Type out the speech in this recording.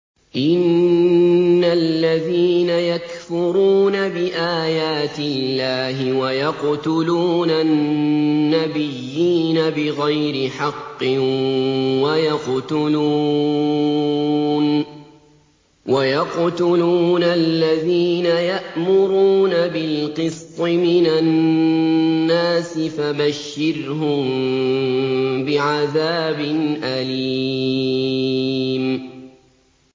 إِنَّ الَّذِينَ يَكْفُرُونَ بِآيَاتِ اللَّهِ وَيَقْتُلُونَ النَّبِيِّينَ بِغَيْرِ حَقٍّ وَيَقْتُلُونَ الَّذِينَ يَأْمُرُونَ بِالْقِسْطِ مِنَ النَّاسِ فَبَشِّرْهُم بِعَذَابٍ أَلِيمٍ